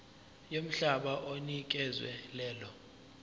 yomhlaba onikezwe lelo